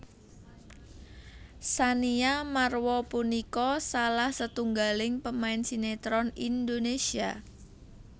Tsania Marwa punika salah setunggaling pemain sinétron Indonésia